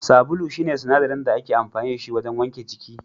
Sabulu shine sinadarin da ake amfani da shi wajen wanke jiki